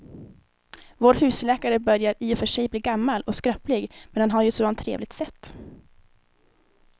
Vår husläkare börjar i och för sig bli gammal och skröplig, men han har ju ett sådant trevligt sätt!